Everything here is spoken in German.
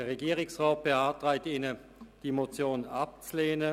Der Regierungsrat beantragt Ihnen, diese Motion abzulehnen.